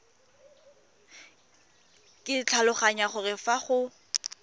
ke tlhaloganya gore fa go